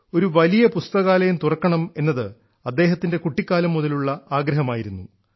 ഒരു വലിയ പുസ്തകാലയം തുറക്കണം എന്നത് അദ്ദേഹത്തിൻറെ കുട്ടിക്കാലം മുതലുള്ള ആഗ്രഹമായിരുന്നു